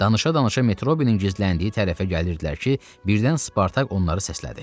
Danışa-danışa Metrobini gizləndiyi tərəfə gəlirdilər ki, birdən Spartak onları səslədi.